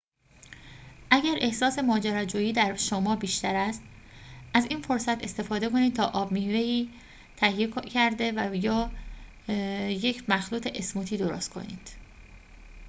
اگر احساس ماجراجویی در شما بیشتر است از این فرصت استفاده کنید تا آب میوه‌ای تهیه کرده یا یک مخلوط اسموتی درست کنید